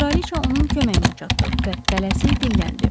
Kraliçə onun köməyinə çatdı və tələsik dilləndi: